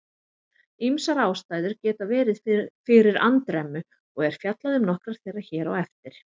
Ýmsar ástæður geta verið fyrir andremmu og er fjallað um nokkrar þeirra hér á eftir.